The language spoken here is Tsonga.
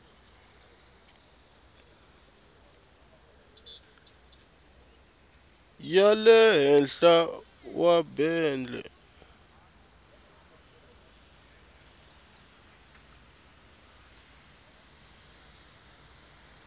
ya le henhla wa bende